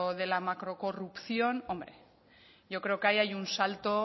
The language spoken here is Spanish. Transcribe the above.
de la macro corrupción hombre yo creo que ahí hay un salto